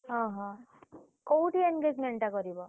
ଅହ କୋଉଠି engagement ଟା କରିବ?